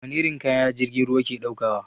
Wani irin kaya jirgin ruwa ke ɗaukawa?